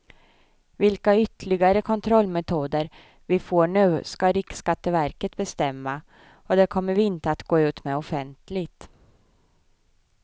Vilka ytterligare kontrollmetoder vi får nu ska riksskatteverket bestämma och det kommer vi inte att gå ut med offentligt.